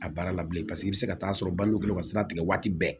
A baara la bilen paseke i bɛ se ka taa sɔrɔ balo ka sira tigɛ waati bɛɛ